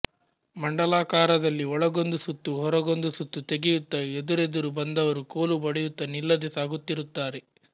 ಮಂಡಲಾಕಾರದಲ್ಲಿ ಒಳಗೊಂದು ಸುತ್ತು ಹೊರಗೊಂದು ಸುತ್ತು ತೆಗೆಯುತ್ತಾ ಎದುರೆದುರು ಬಂದವರು ಕೋಲು ಬಡಿಯುತ್ತಾ ನಿಲ್ಲದೆ ಸಾಗುತ್ತಿರುತ್ತಾರೆ